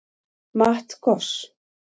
Matt Goss